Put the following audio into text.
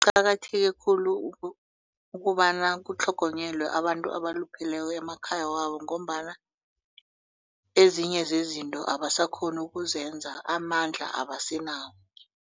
Kuqakatheke khulu ukobana kutlhogonyelwe abantu abalupheleko emakhaya wabo ngombana ezinye zezinto abasakghoni ukuzenza amandla abasenawo.